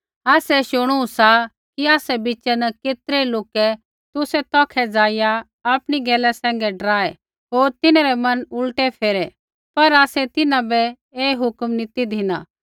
आसै शुणू सा कि आसा बिच़ै न केतरै लोकै तुसै तौखै ज़ाइआ आपणी गैला सैंघै डराऐ होर तिन्हरै मन उल्टै फेरै पर आसै तिन्हां बै ऐ हुक्म नी ती धिना